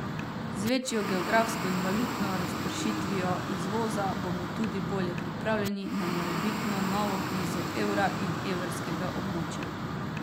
Družba Osem bo ta teden plača provizijo posredniku, kupnino stečajni upraviteljici pa v drugi polovici januarja.